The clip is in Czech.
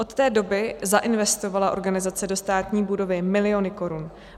Od té doby zainvestovala organizace do státní budovy miliony korun.